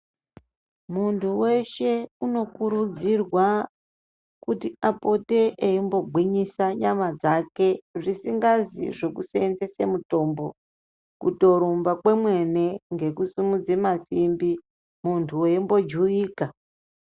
Muntu weshe unokurudzirwe kuti apote eimbogwinyise nyama dzake, zvisikanzi zvekuseenzese mitombo, kutorumba kwemene ngekusimudze masimbi muntu weimbojuwika.